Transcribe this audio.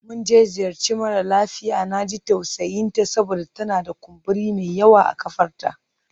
Mun je ziyarci mara lafiya, na ji tausayinta saboda tana da kumburi mai yawa a ƙafarta.